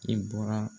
I bɔra